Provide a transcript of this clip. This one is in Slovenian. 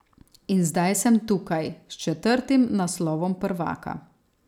In zdaj sem tukaj, s četrtim naslovom prvaka.